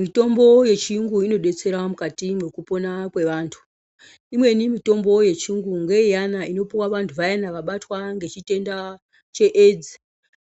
Mitombo yechirungu inodetsera mukati mekupona kwevantu. Imweni mitombo yechirungu ngeyana inopiwa vantu vaina vabatwa ngechitenda cheAIDS.